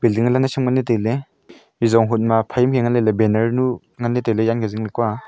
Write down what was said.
ling lan naisham ley nganley tailey ejong honma phaima ya ngan leley banner nu nganley tailey yan e zing kua.